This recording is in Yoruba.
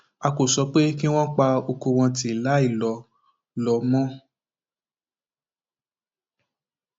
a kò sọ pé kí wọn pa ọkọ wọn tì láì lọ lọ mọ